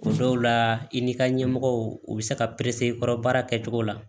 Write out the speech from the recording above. O dɔw la i n'i ka ɲɛmɔgɔw u bɛ se ka i kɔrɔ baara kɛ cogo la